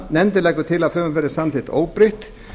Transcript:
nefndin leggur til að frumvarpið verði samþykkt óbreytt